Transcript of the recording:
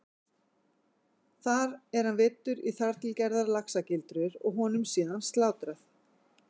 Þar er hann veiddur í þar til gerðar laxagildrur og honum síðan slátrað.